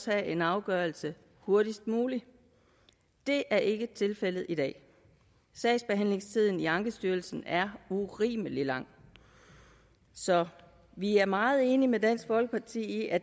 have en afgørelse hurtigst muligt det er ikke tilfældet i dag sagsbehandlingstiden i ankestyrelsen er urimelig lang så vi er meget enige med dansk folkeparti i at